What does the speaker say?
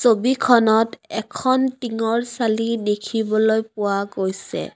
ছবিখনত এখন টিঙৰ চালি দেখিবলৈ পোৱা গৈছে।